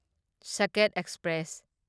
Saket express